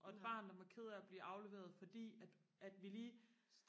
og et barn der var ked af og blive afleveret fordi at at vi lige